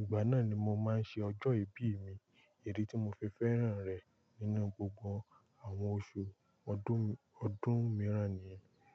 Ìgbà náà ni mo máa ń ṣe ọjọ́ ìbí mi, idí tí mo fi fẹ́ràn rẹ̀ nínú gbogbo àwọn oṣù ọdún, ọdún mìíràn nìyẹn.